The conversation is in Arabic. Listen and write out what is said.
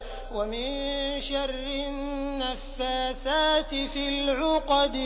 وَمِن شَرِّ النَّفَّاثَاتِ فِي الْعُقَدِ